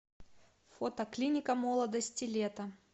фото клиника молодости лето